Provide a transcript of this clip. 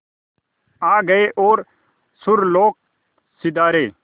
आ गए और सुरलोक सिधारे